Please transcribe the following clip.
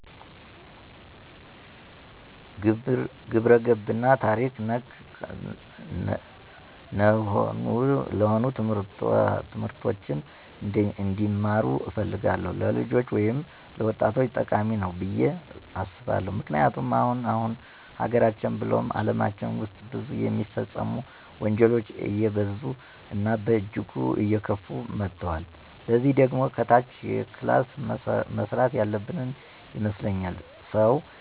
ግብረገብ እና ታሪክ ነክ ነሆኑ ትምህርቶችን እንዲማሩ እፈልጋለሁ። ለልጆች ወይም ለወጣቶቸ ጠቃሚ ነዉ ብየ አስባለሁ። ምክንያቱም አሁን አሁን ሀገራችን ብሉም አለማችን ዉስጥ ብዙ የሚፈጸሙ ወንጀሎች አየበዙ እና በእጅጉ አየከፉ መተወል። ለዚህ ደግሞ ከታች ክላስ መሰራት ያለበን ይመስለኛል። ሰዉ